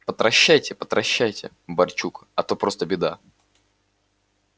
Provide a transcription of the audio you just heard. потращайте потращайте барчук а то просто беда